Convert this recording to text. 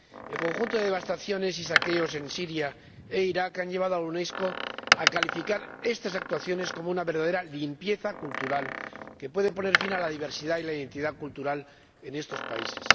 El conjunto de devastaciones y saqueos en Siria e Irak ha llevado a la Unesco a calificar estas actuaciones como una verdadera limpieza cultural, que puede poner fin a la diversidad y la identidad cultural en estos países.